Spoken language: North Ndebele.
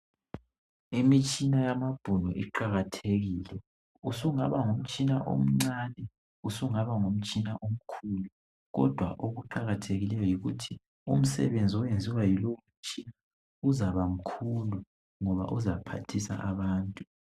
Imitshina yamabhunu iqakathekile usungaba ngumtshina omncane usungaba ngumtshina omkhulu kodwa okuqakathekikeyo yikuthi umsebenzi oyenziwa yilo mtshina uzabamkhulu ngoba uzaphathisa abantu.